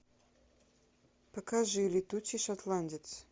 покажи летучий шотландец